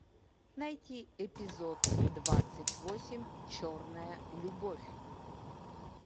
найти эпизод двадцать восемь черная любовь